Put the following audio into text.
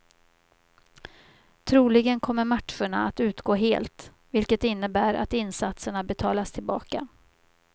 Troligen kommer matcherna att utgå helt, vilket innebär att insatserna betalas tillbaka.